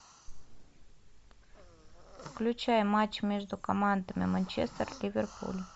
включай матч между командами манчестер ливерпуль